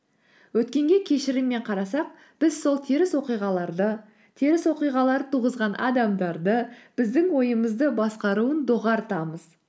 өткенге кешіріммен қарасақ біз сол теріс оқиғаларды теріс оқиғаларды туғызған адамдарды біздің ойымызды басқаруын доғартамыз